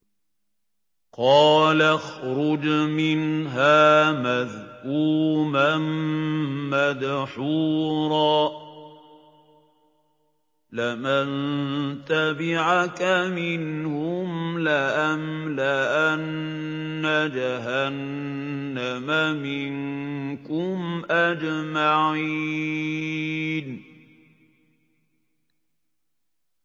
قَالَ اخْرُجْ مِنْهَا مَذْءُومًا مَّدْحُورًا ۖ لَّمَن تَبِعَكَ مِنْهُمْ لَأَمْلَأَنَّ جَهَنَّمَ مِنكُمْ أَجْمَعِينَ